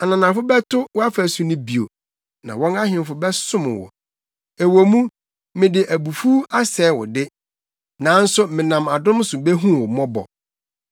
“Ananafo bɛto wʼafasu no bio, na wɔn ahemfo bɛsom wo. Ɛwɔ mu, mede abufuw asɛe wo de, nanso menam adom so behu wo mmɔbɔ.